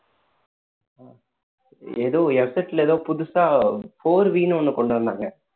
எதோ ல ஏதோ புதுசா four வின்னு ஒண்ணு கொண்டு வந்தாங்க